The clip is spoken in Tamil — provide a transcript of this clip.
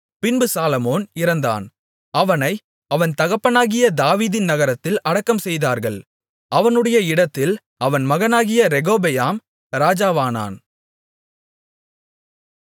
பின்பு சாலொமோன் இறந்தான் அவனை அவன் தகப்பனாகிய தாவீதின் நகரத்தில் அடக்கம்செய்தார்கள் அவனுடைய இடத்தில் அவன் மகனாகிய ரெகொபெயாம் ராஜாவானான்